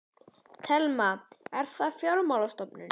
Telma: Er það fjármálastofnun?